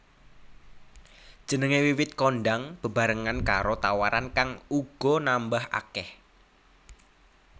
Jenengé wiwit kondhang bebarengan karo tawaran kang uga nambah akèh